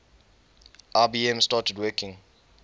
ibm started working